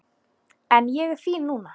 En ég er fín núna.